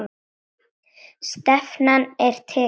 Stefnan er tekin.